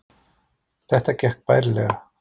Þetta gekk bærilega